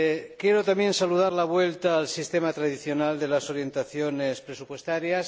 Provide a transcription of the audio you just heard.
Quiero también saludar la vuelta al sistema tradicional de las orientaciones presupuestarias.